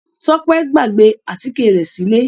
Tọ́pẹ́ gbàgbé àtíkè rẹ̀ sílé.